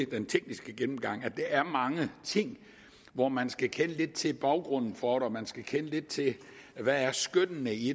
den tekniske gennemgang at der er mange ting hvor man skal kende lidt til baggrunden for hvor man skal kende lidt til hvad skønnet er i